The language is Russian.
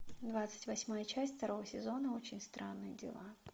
двадцать восьмая часть второго сезона очень странные дела